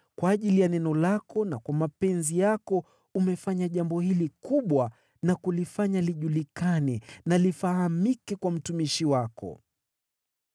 Kwa ajili ya neno lako na kwa mapenzi yako, umefanya jambo hili kubwa na kulifanya lijulikane na lifahamike kwa mtumishi wako.